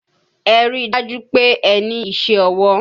Ẹ ríi dájú pé ẹ ní iṣẹ́ ọwọ́!